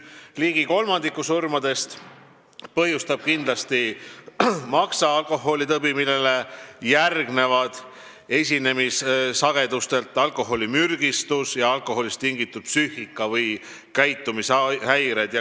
Ligi kolmandiku surmadest põhjustab maksatõbi, millele järgnevad esinemissageduse poolest alkoholimürgistus ja alkoholist tingitud psüühika- või käitumishäired.